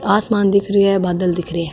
आस मान दिख रो है बादल दिख रा है।